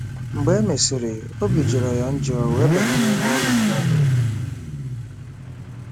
Mgbe e mesịrị, obi jọrọ ya njọ wee banye n'ime ụlọ ha.